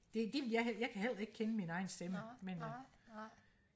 det det vil jeg jeg kan heller ikke kende mig egen stemme men øh